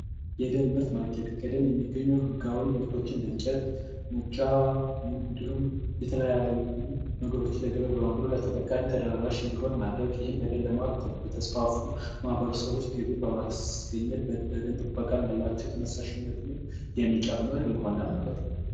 የደን ምርት ማርኬቲንግ ከደን የሚገኙ ህጋዊ እንደ እንጨት፣ ሙጫ እንዲሁም የተለያዩ ነገሮችን በማቅረብ ለተጠቃሚው ተደራሽ እንዲሆን ማድረግ እና የደን ልማትን ለሚያስፋፉ ማህበረሰቦች ገቢ በማስገኘት ለደን ጥበቃ ያላቸውንም ተነሳሽነትንም የሚጨምር ይሆናል ማለት ነው።